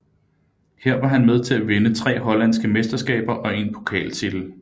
Her var han med til at vinde tre hollandske mesterskaber og én pokaltitel